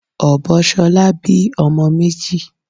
Ọbọ shola bí ọmọ méjì.